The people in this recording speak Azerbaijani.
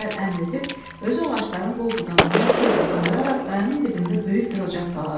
deyə Cəfər əmr edib, özü ağacların qol budağından xeyli sındıraraq qayanın dibində böyük bir ocaq qaladı.